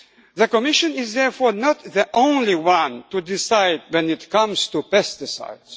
formulants. The Commission is therefore not the only one to decide when it comes to